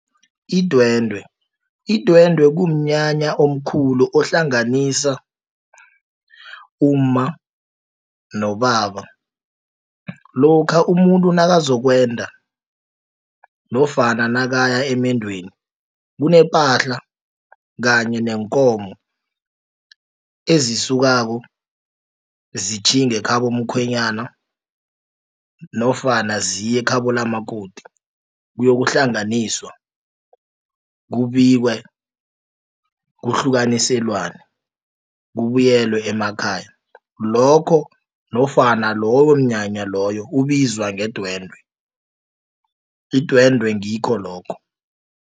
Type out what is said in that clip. Idwendwe. Idwendwe kumnyanya omkhulu ohlanganisa umma nobaba lokha umuntu nakazokwenda nofana nakaya amendweni kunepahla kanye neenkomo ezisukako zitjhinge khabo mkhwenyana nofana ziye ekhabo likamakoti kuyokuhlangananiswa kubikwe kuhlukaniselwane kubuyelwe emakhaya lokho nofana loyo mnyanya loyo ubizwa ngedwende, idwendwe ngikho lokho.